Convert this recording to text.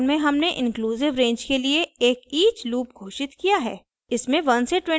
उपरोक्त उदाहरण में हमने इंक्लूसिव रेंज के लिए एक each लूप घोषित किया है